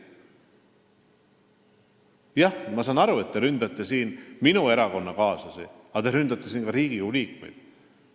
Jah, ma saan aru, et te ründate siin minu erakonnakaaslasi, aga te ründate ka Riigikogu liikmeid.